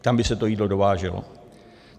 Tam by se to jídlo dováželo.